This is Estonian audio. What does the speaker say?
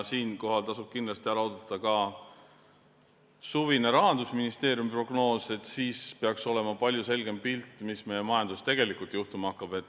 Tasub ära oodata ka suvine Rahandusministeeriumi prognoos, siis peaks olema palju selgem pilt, mis meie majanduses tegelikult juhtuma hakkab.